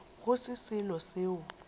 go se selo seo o